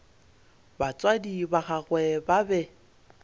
batswadi ba gagwe ba be